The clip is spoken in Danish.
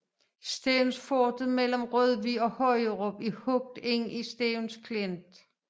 Stevnsfortet mellem Rødvig og Højerup er hugget ind i Stevns Klint